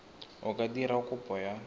o ka dira kopo ya